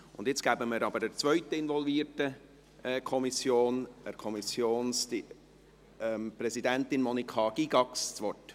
Nun hat die Präsidentin der zweiten involvierten Kommission, Monika Gygax, das Wort.